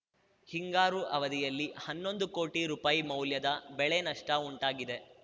ಹಿಂಗಾರು ಅವಧಿಯಲ್ಲಿ ಹನ್ನೊಂದು ಕೋಟಿ ರೂಪಾಯಿ ಮೌಲ್ಯದ ಬೆಳೆನಷ್ಟ ಉಂಟಾಗಿದೆ